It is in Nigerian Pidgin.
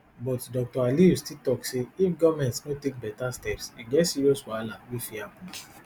but dr aliyu still tok say if goment no take beta steps e get serious wahala wey fit happun